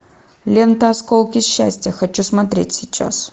лента осколки счастья хочу смотреть сейчас